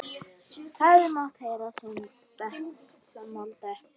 Hefði mátt heyra saumnál detta.